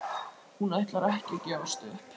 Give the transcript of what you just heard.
Hún ætlar ekki að gefast upp!